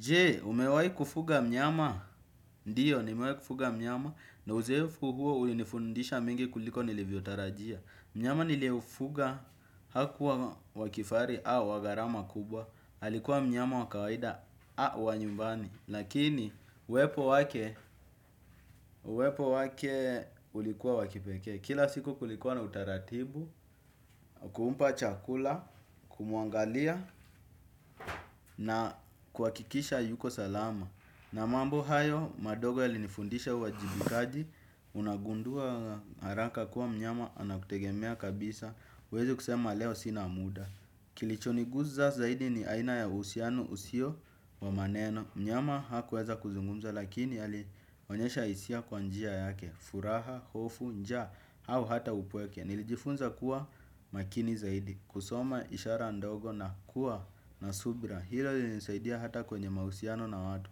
Je, umewai kufuga mnyama, ndiyo, nimewai kufuga mnyama, na uzoefu huo unifundisha mengi kuliko nilivyotarajia. Mnyama niliyeufuga hakuwa wa kifahari au wa garama kubwa, alikuwa mnyama wa kawaida au wa nyumbani. Lakini, uwepo wake, uwepo wake ulikuwa wa kipekee. Kila siku kulikuwa na utaratibu, wa kumpa chakula, kumuangalia, na kuhakikisha yuko salama. Na mambo hayo madogo yalinifundisha uwajibikaji. Unagundua haraka kuwa mnyama anakutegemea kabisa huwezi kusema leo sina muda. Kilichoniguza zaidi ni aina ya uhusiano usio wa maneno. Mnyama hakuweza kuzungumza lakini alionyesha isia kwa njia yake. Furaha, hofu, njaa au hata upweke. Nilijifunza kuwa makini zaidi. Kusoma ishara ndogo na kuwa na subira. Hilo lilinisaidia hata kwenye mahusiano na watu.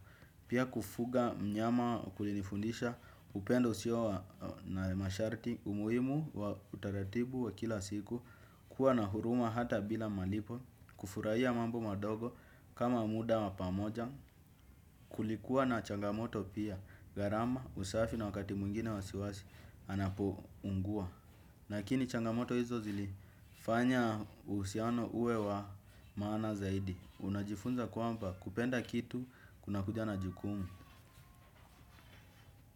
Pia kufuga mnyama kulinifundisha upendo usio wa na masharti umuhimu wa utaratibu wa kila siku. Kuwa na huruma hata bila malipo kufuraia mambo madogo kama muda wa pamoja. Kulikuwa na changamoto pia gharama usafi na wakati mwingine wasiwasi anapounguwa lakini changamoto hizo zilifanya uhusiano uwe wa maana zaidi. Unajifunza kwamba kupenda kitu kunakuja na jukumu.